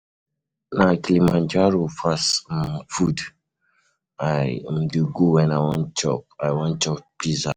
Na Kilimanjaro fast um food I um dey go wen I wan chop I wan chop Pizza.